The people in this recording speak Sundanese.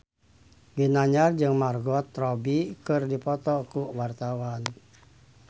Ginanjar jeung Margot Robbie keur dipoto ku wartawan